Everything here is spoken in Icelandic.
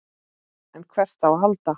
En hvert á að halda?